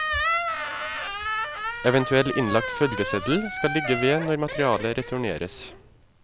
Eventuell innlagt følgeseddel skal ligge ved når materialet returneres.